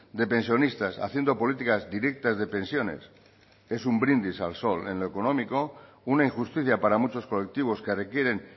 de pensionistas haciendo políticas directas de pensiones es un brindis al sol en lo económico una injusticia para muchos colectivos que requieren